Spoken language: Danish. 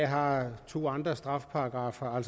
har to andre straffeparagraffer